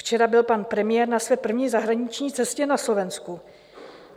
Včera byl pan premiér na své první zahraniční cestě na Slovensku.